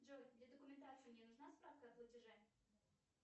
джой для документации мне нужна справка о платеже